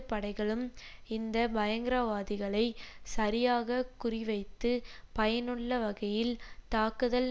படைகளும் இந்த பயங்கரவாதிகளை சரியாக குறிவைத்து பயனுள்ள வகையில் தாக்குதல்